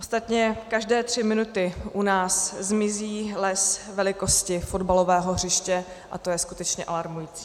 Ostatně každé tři minuty u nás zmizí les velikosti fotbalového hřiště, a to je skutečně alarmující.